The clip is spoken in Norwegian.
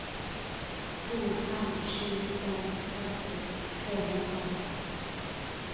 to fem sju en førti tre hundre og seks